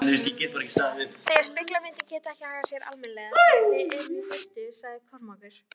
Þessar spegilmyndir geta ekki hagað sér almennilega þegar við erum í burtu, sagði Kormákur.